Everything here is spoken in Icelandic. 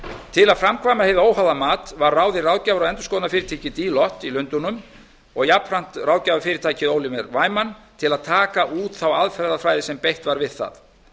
til að framkvæma hið óháða mat var ráðið ráðgjafar og endurskoðunarfyrirtækið deloitte í lundúnum og jafnframt ráðgjafarfyrirtækið oliver saman til að taka út þá aðferðafræði sem beitt var við það